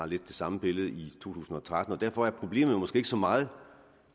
lidt det samme billede i to tusind og tretten derfor er problemet måske ikke så meget